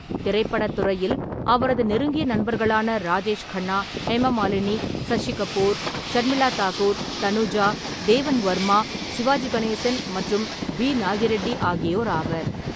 திரைப்படத் துறையில் அவரது நெருங்கிய நண்பர்களான ராஜேஷ் கண்ணா, ஹேமமாலினி, சசி கபூர், ஷர்மிளா தாகூர், தனுஜா, தேவன் வர்மா, சிவாஜி கணேசன் மற்றும் பி. நாகி ரெட்டி ஆகியோர் ஆவர்.